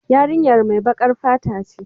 Yarinyar mai bakar fata ce.